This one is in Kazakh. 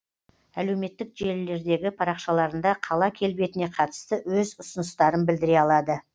әлеуметтік желілердегі парақшаларында қала келбетіне қатысты өз ұсыныстарын білдіре алады